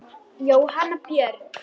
Gunnar Óli.